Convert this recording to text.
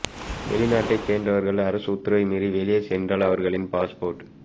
வெளிநாட்டைச் சேர்ந்தவர்கள் அரசு உத்தரவை மீறி வெளியே சென்றல் அவர்களின் பாஸ்போர்ட்